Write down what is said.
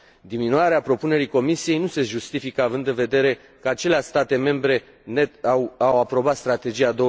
Diminuarea propunerii Comisiei nu se justifică, având în vedere că aceleași state membre net au aprobat Strategia